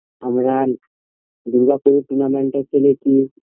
আমরা দূর্গাপুরে tournament -এও খেলেছি